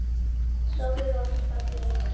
Sofðu rótt fallegi engill.